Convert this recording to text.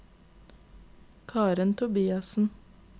Karen Tobiassen